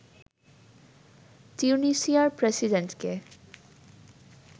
তিউনিসিয়ার প্রেসিডেন্টকে